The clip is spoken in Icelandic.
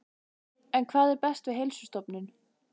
En hvað er best við Heilsustofnun?